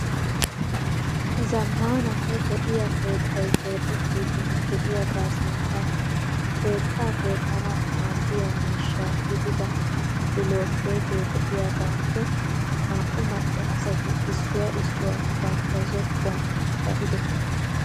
Zammananne lo"iyaa keettay keexettiiddi de"iyaagaa sinttan keettaa keexxanawu maaddiya mishsha gidida bilookkeetee de"iyaagaappe naa"u macca asati issuwaa issuwaa bantta zokkuwa ba"idosona.